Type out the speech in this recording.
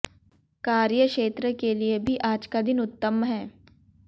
कार्य क्षेत्र के लिए भी आज का दिन उत्तम है